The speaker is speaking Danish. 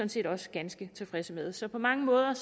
set også ganske tilfredse med så på mange måder